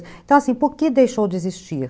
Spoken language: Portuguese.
Então, assim, por que deixou de existir?